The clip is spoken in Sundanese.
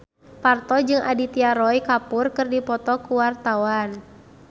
Parto jeung Aditya Roy Kapoor keur dipoto ku wartawan